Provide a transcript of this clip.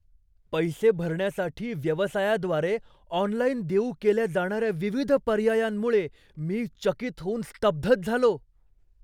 पैसे भरण्यासाठी व्यवसायाद्वारे ऑनलाइन देऊ केल्या जाणाऱ्या विविध पर्यायांमुळे मी चकित होऊन स्तब्धच झालो.